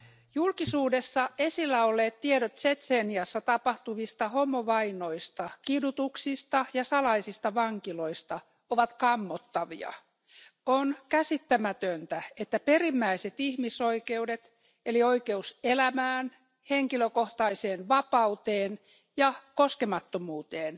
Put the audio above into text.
Arvoisa puhemies, julkisuudessa esillä olleet tiedot Tšetšeniassa tapahtuvista homovainoista, kidutuksista ja salaisista vankiloista ovat kammottavia. On käsittämätöntä, että perimmäiset ihmisoikeudet eli oikeus elämään, henkilökohtaiseen vapauteen ja koskemattomuuteen